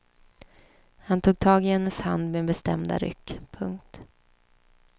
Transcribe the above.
Han tog tag i hennes hand med bestämda ryck. punkt